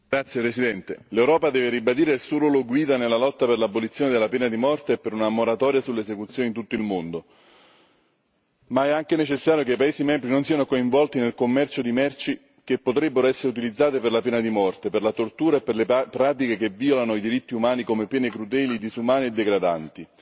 Signor Presidente, onorevoli colleghi, l'Europa deve ribadire il suo ruolo guida nella lotta per l'abolizione della pena di morte e per una moratoria sulle esecuzioni in tutto il mondo. Ma è anche necessario che i paesi membri non siano coinvolti nel commercio di merci che potrebbero essere utilizzate per la pena di morte, per la tortura e per le pratiche che violano i diritti umani, come pene crudeli, disumane e degradanti.